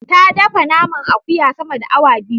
Ta dafe naman akuya sama da awa biyu.